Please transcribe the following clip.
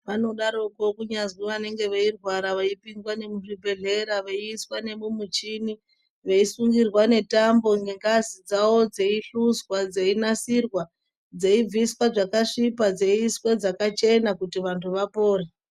Vanodaroko kunyazwi vanenge veirwara veipinzwa nemuzvibhedhera veiiswa nemumucheni veisungirwa netambo nengazi dzavo dzeihluzwa, dzeinasirwa, dzeibviswa zvakasvipa dzeiiswa dzakachena kuti vantu vapore.